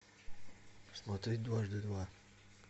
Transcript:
смотреть дважды два